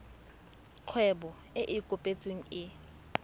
kgwebo e e kopetsweng e